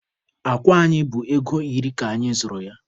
Akwa anyị bụ ego iri ka anyị zụrụ ya.